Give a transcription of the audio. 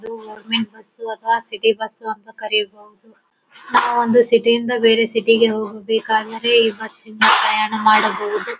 ಇದು ಒಂದು omni bus ಅಥವಾ ಸಿಟಿ ಬಸ್ ಅಂತ ಕರೀಬಹುದು. ನಾವ್ ಅಂದೇ ಸಿಟಿಯಿಂದ ಬೇರೆ ಸಿಟಿಗೆ ಹೋಗಬೇಕಾಗಿದೆ ಇವತಿಂದ ಪ್ರಯಾಣ ಮಾಡಬಹುದು .